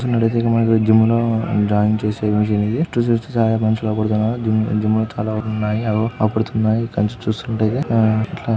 ఇక్కడ చూసినట్టయితే మనకి జిమ్ లో జాగింగ్ చేసే మిషన్ ఇది. చుట్టూ చూస్తే చాలామంది మనుషులు అగుపడుతున్నారు జిమ్ జిమ్ లో చాలా వస్తువులు ఉన్నాయి. అవిగో ఆగుపడుతున్నాయి ఇక్కడి నుండి చూస్తుంటే.